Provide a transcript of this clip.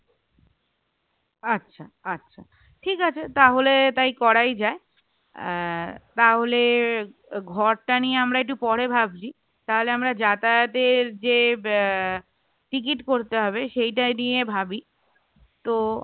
আচ্ছা আচ্ছা ঠিক আছে তাহলে তাই করাই যায় আহ তাহলে ঘরটা নিয়ে আমরা একটু পরে ভাবছি, তাহলে আমরা যাতাযাতের যে আহ ticket করতে হবে সেটা নিয়ে ভাবি তো